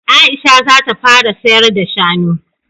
Aisha za ta fara sayar da shanu